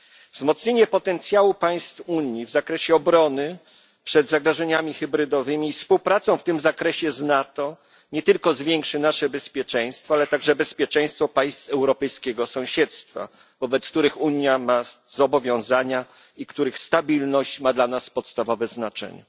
Wzmocnienie potencjału państw Unii w zakresie obrony przed zagrożeniami hybrydowymi i współpraca w tym zakresie z NATO nie tylko zwiększy nasze bezpieczeństwo, ale także bezpieczeństwo państw europejskiego sąsiedztwa, wobec których Unia ma zobowiązania i których stabilność ma dla nas podstawowe znaczenie.